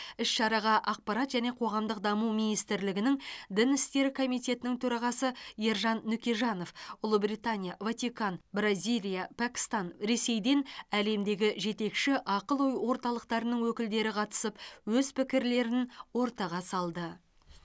іс шараға ақпарат және қоғамдық даму министрлігінің дін істері комитетінің төрағасы ержан нүкежанов ұлыбритания ватикан бразилия пәкістан ресейден әлемдегі жетекші ақыл ой орталықтарының өкілдері қатысып өз пікірлерін ортаға салды